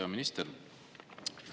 Hea minister!